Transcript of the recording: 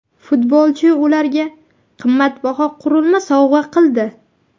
Futbolchi ularga qimmatbaho qurilma sovg‘a qildi.